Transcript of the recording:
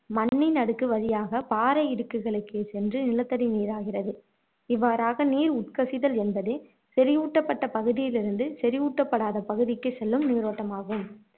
மண்ணின் அடுக்கு வழியாக பாறை இடுக்குகளுக்குச் சென்று நிலத்தடி நீராகிறது இவ்வாறாக நீர் உட்கசிதல் என்பது செறிவூட்டப்பட்ட பகுதியிலிருந்து செறிவூட்டப்படாத பகுதிக்குச் செல்லும் நீரோட்டம் ஆகும்